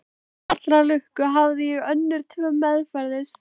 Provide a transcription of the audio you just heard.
Til allrar lukku hafði ég önnur tvö meðferðis.